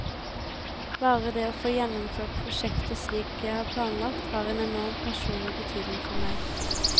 Bare det å få gjennomført prosjektet slik jeg har planlagt, har en enorm personlig betydning for meg.